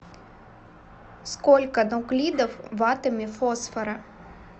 сколько нуклидов в атоме фосфора